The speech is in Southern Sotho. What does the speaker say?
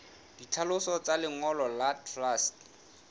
ditlhaloso tsa lengolo la truste